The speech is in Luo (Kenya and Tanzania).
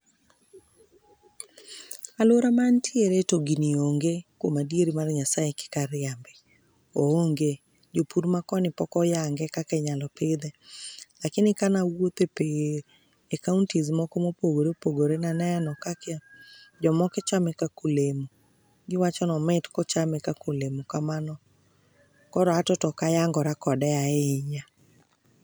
Aluora man antiere to gini onge kuom adieri mar Nyassaye kik ariambi. oonge. Jopur makoni pok oyange kaka inyalo pidhe. Lakini kana awuotho e counties moko mopogore opogore naneno ka jomoko chame kaka olemo giwachoni omit kochame kaka olemo kamano. Koro ato to ok ayangore kode ahinya